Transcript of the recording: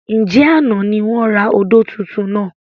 Ǹjẹ́ àná ni wọn rà odò tuntun náà?